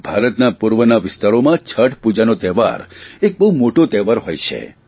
ભારતના પૂર્વના વિસ્તારોમાં છઠ પૂજાનો તહેવાર એક બહુ મોટો તહેવાર હોય છે